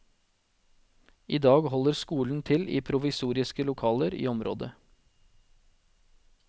I dag holder skolen til i provisoriske lokaler i området.